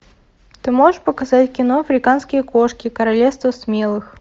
ты можешь показать кино африканские кошки королевство смелых